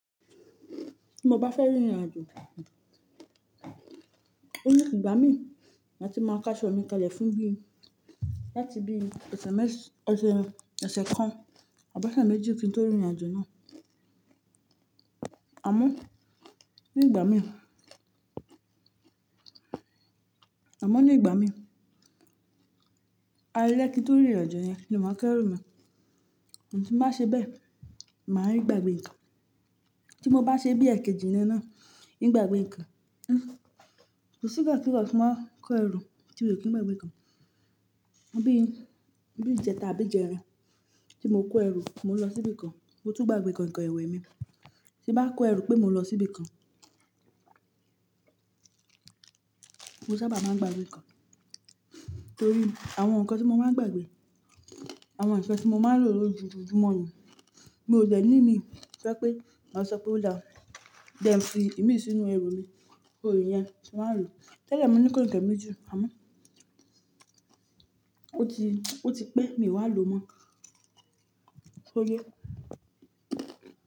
Tí mo bá fẹ́ rìnrìn àjò, ó ní gbá mi ma ti máa kaṣo mi kalẹ̀ fún bíi láti bíi ọ̀sẹ̀ kan àbi ọ̀sẹ̀ méjì o tí tó rìnrìn àjò náà. Amo ni igba mii àmọ́ ní ìgbà mí, alẹ́ kí n to rìn irìn àjò yẹn ni máa kẹ́rù mi. Tí n báa ṣe bẹ́ẹ̀, màá ń gbàgbé ǹkan. Tí mo bá ṣe bí ẹkẹ jìnnà náà, n í gbàgbé ǹkan, kò sí igbakigba tí n ba kó ẹrù tí mio kin gbàgbé ǹkan. Bí bí ìjẹta àbí ìjẹrin tí mo kó ẹrù, mo lọ síbi kan, mo tún gbàgbé kainkain ìwé mi. Tí bá kó ẹrù pé mo lọ síbi kan, mo sábà máa ń gbàgbé ǹkan. Nítorí àwọn nǹkan tí mo máa ń gbàgbé, àwọn nkan tí mo máa ń lò lójojumo ni, mi ò dẹ̀ ní ìmi to ye pé máa sọ pé ó dá jẹ́ ẹ fi ìmísí sínú ẹrù mi, kó rìn yẹn, tí wàá lò. Tẹ́lẹ̀ mo ní kainkain meji amo. Ó ti, ó ti pẹ́, mi wá lò mọ́. Ó yé.